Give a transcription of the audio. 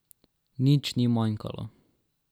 Nič ni manjkalo.